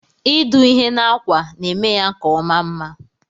Idụ ihe na akwa na emeya ka ọma mma.